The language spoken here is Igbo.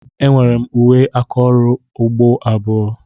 Enwere m uwe aka ọrụ ugbo abụọ.